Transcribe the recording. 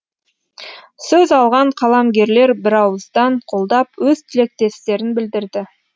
сөз алған қаламгерлер бірауыздан қолдап өз тілектестерін білдірді